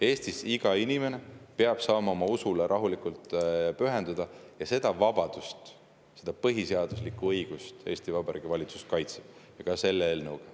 Eestis iga inimene peab saama oma usule rahulikult pühenduda ja seda vabadust, seda põhiseaduslikku õigust Eesti Vabariigi valitsus kaitseb, ka selle eelnõuga.